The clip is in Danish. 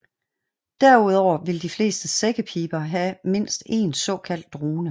Derudover vil de fleste sækkepiber have mindst en såkaldt drone